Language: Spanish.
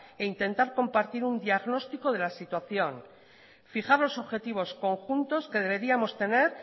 e intentar compartir un diagnóstico de la situación fijar los objetivos conjuntos que deberíamos tener